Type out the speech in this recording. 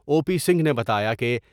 او P Singh نے بتایا کہ۔